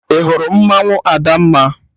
Ị hụrụ mmanwụ Adamma?